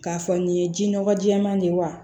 K'a fɔ nin ye ji nɔgɔ jɛɛma de ye wa